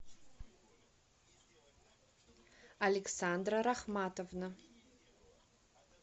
александра рахматовна